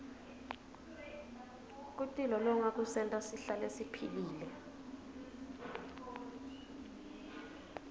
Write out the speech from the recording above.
kutilolonga kusenta sihlale siphilile